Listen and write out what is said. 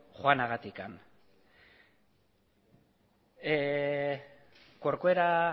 joanagatik corcuera